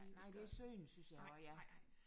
Nej det er synd synes jeg også ja